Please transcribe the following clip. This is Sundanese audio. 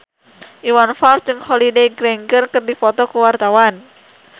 Iwan Fals jeung Holliday Grainger keur dipoto ku wartawan